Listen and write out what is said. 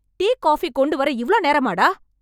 Tea, coffee கொண்டுவர இவ்ளோ நேரமாடா?